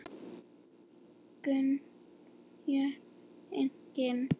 Gul spjöld: Engin.